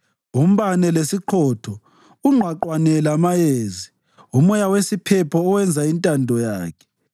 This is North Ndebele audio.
umbane lesiqhotho, ungqwaqwane lamayezi, umoya wesiphepho owenza intando yakhe,